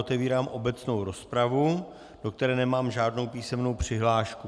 Otevírám obecnou rozpravu, do které nemám žádnou písemnou přihlášku.